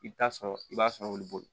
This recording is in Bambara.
I bɛ taa sɔrɔ i b'a sɔn olu bolo